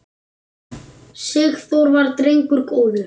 Sigþór var drengur góður.